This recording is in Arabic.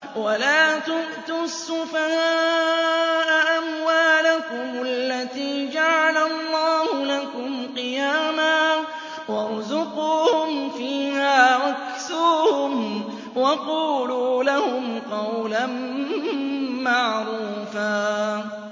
وَلَا تُؤْتُوا السُّفَهَاءَ أَمْوَالَكُمُ الَّتِي جَعَلَ اللَّهُ لَكُمْ قِيَامًا وَارْزُقُوهُمْ فِيهَا وَاكْسُوهُمْ وَقُولُوا لَهُمْ قَوْلًا مَّعْرُوفًا